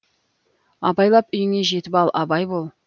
абайлап үйіңе жетіп ал абай бол